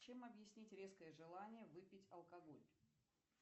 чем объяснить резкое желание выпить алкоголь